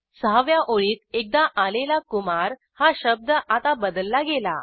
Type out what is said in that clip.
सहाव्या ओळीत एकदा आलेला कुमार हा शब्द आता बदलला गेला